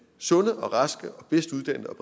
sunde og raske og bedst uddannede og